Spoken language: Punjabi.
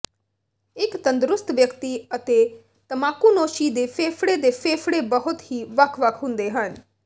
ਇੱਕ ਤੰਦਰੁਸਤ ਵਿਅਕਤੀ ਅਤੇ ਤਮਾਕੂਨੋਸ਼ੀ ਦੀ ਫੇਫੜੇ ਦੇ ਫੇਫੜੇ ਬਹੁਤ ਹੀ ਵੱਖ ਵੱਖ ਹੁੰਦੇ ਹਨ